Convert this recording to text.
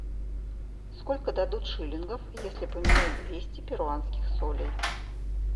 сколько дадут шиллингов если поменять двести перуанских солей